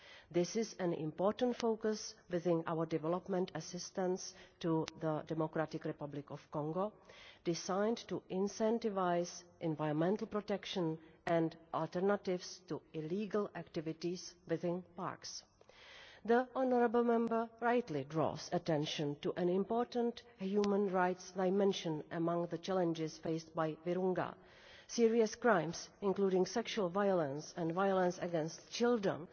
This is an important focus within our development assistance to the DRC, designed to incentivise environmental protection and alternatives to illegal activities within parks. The honourable Member rightly draws attention to an important human rights dimension among the challenges faced by Virunga serious crimes, including sexual violence and violence against children,